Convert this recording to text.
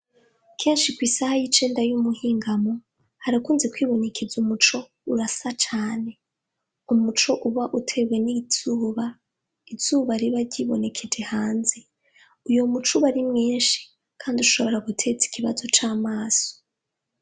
Kenshi kwisaha yicenda yumuhingamo ,harakunze kwibonekeza umuco urasa cane, umuco utewe nizuba ,izuba riba ryibonekeje hanze uwo muco uba Ari mwinshi Kandi ushobora guteza ikibazo camaso.